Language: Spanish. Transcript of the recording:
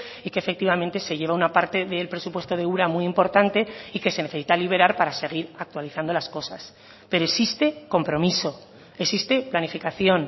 y que efectivamente se lleva una parte del presupuesto de ura muy importante y que se necesita liberar para a seguir actualizando las cosas pero existe compromiso existe planificación